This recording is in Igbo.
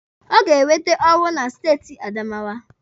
Ọ ga-enwete ọrụ na steeti Adamawa.